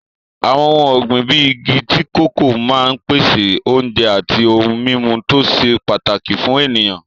Àwọn ohun ọ̀gbìn bíi igi tíì kòkó máa ń pèsè oúnjẹ àti ohun-mímu tó ṣe pàtàkì fún ènìyàn.